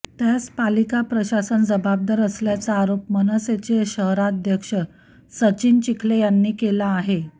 त्यास पालिका प्रशासन जबाबदार असल्याचा आरोप मनसेचे शहराध्यक्ष सचिन चिखले यांनी केला आहे